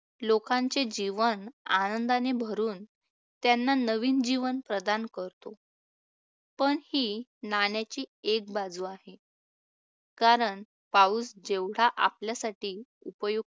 लोकांचे जीवन आनंदाने भरून त्यांना नवीन जीवन प्रदान करतो, पण ही नाण्याची एक बाजू आहे. कारण पाऊस जेवढा आपल्यासाठी उपयुक्त